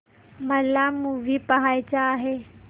मला मूवी पहायचा आहे